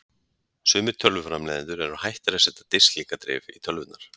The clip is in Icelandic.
Sumir tölvuframleiðendur eru hættir að setja disklingadrif í tölvurnar.